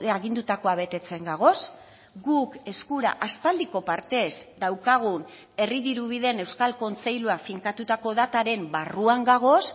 agindutakoa betetzen gagoz guk eskura aspaldiko partez daukagun herri dirubideen euskal kontseilua finkatutako dataren barruan gagoz